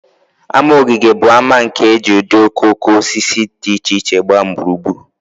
Ama ogige bụ ama nke e ji ụdị okooko osisi dị iche iche gbaa gburugburu